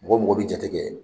Mɔgɔ mɔgɔ bɛ jate kɛ